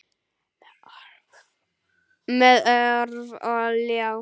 Með orf og ljá.